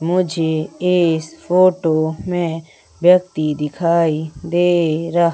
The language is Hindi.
मुझे इस फोटो में व्यक्ति दिखाई दे रहा--